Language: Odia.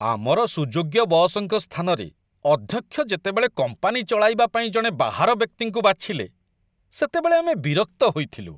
ଆମର ସୁଯୋଗ୍ୟ ବସ୍‌ଙ୍କ ସ୍ଥାନରେ ଅଧ୍ୟକ୍ଷ ଯେତେବେଳେ କମ୍ପାନୀ ଚଳାଇବା ପାଇଁ ଜଣେ ବାହାର ବ୍ୟକ୍ତିଙ୍କୁ ବାଛିଲେ, ସେତେବେଳେ ଆମେ ବିରକ୍ତ ହୋଇଥିଲୁ।